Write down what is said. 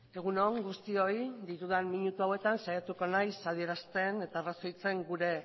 egun on guztioi ditudan minutu hauetan saiatuko naiz adierazten eta arrazoitzen gure